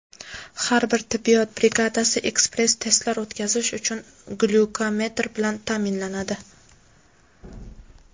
Har bir tibbiyot brigadasi ekspress-testlar o‘tkazish uchun glyukometr bilan ta’minlanadi.